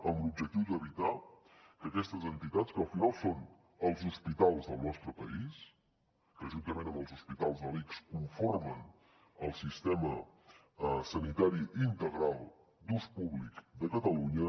amb l’objectiu d’evitar que aquestes entitats que al final són els hospitals del nostre país que juntament amb els hospitals de l’ics conformen el sistema sanitari integral d’ús públic de catalunya